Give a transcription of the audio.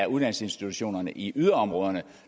uddannelsesinstitutionerne i yderområderne